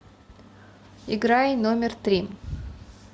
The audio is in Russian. играй номер три